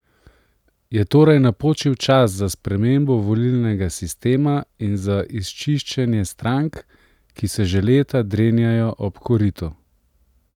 Je torej napočil čas za spremembo volilnega sistema in za izčiščenje strank, ki se že leta drenjajo ob koritu?